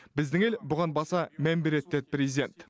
біздің ел бұған баса мән береді деді президент